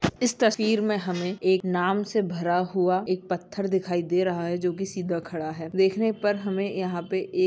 इस तस्वीर में हमें एक नाम से भरा हुआ एक पत्थर दिखाई दे रहा है जो की सीधा खड़ा है देखने में पर हमें यहाँ पे एक--